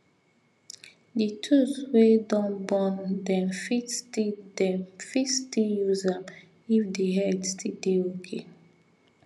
the tools wey don burn dem fit still dem fit still use am if the head still dey okay